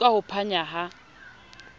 tu ka ho panya ha